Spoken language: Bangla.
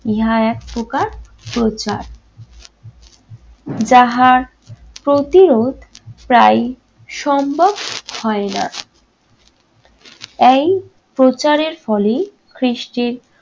ইহা এক প্রকার প্রচার। যাহার প্রতিরোধ প্রায়ই সম্ভব হয় না। তাই প্রচারের ফলেই কৃষ্টির